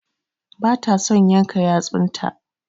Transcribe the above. Ba ta son yanka yatsun ta.